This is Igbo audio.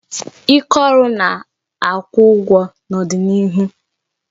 Ike oru na-akwụ ụgwọ n'ọdịnịihu